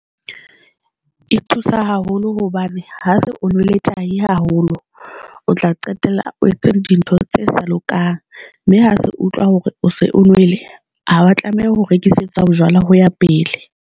E thusa haholo hobane ha se o nwele tai haholo, o tla qetella o etsa dintho tse sa lokang, mme ha se utlwa hore o se o nwele. Ha oya tlameha ho rekisetswa bojwala ho ya pele.